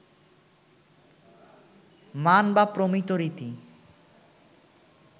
মান বা প্রমিত রীতি